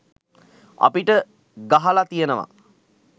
අපිට ගහල තියෙනව